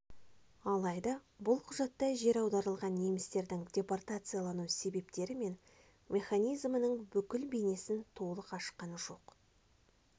алайда бұл құжатта жер аударылған немістердің депортациялану себептері мен механизмінің бүкіл бейнесін толы ашқан жоқ